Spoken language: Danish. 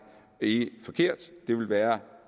helt forkert det ville være